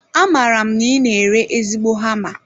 Amaara m na I na ere ezigbo hama